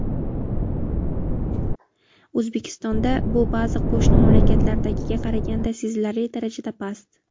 O‘zbekistonda bu ba’zi qo‘shni mamlakatlardagiga qaraganda sezilarli darajada past.